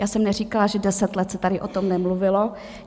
Já jsem neříkala, že deset let se tady o tom nemluvilo.